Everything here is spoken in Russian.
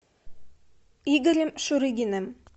игорем шурыгиным